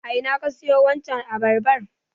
A ina ka siyo wancan abarban?